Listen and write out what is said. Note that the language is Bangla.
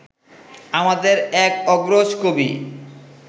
আমাদের এক অগ্রজ কবি